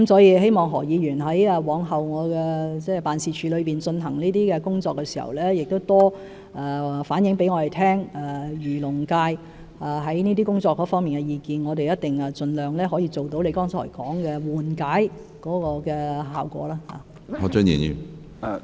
我希望何議員往後在我的辦事處進行這些工作時，可多向我們反映漁農界對這些工作的意見，我們一定盡量做到他剛才說的緩解效果。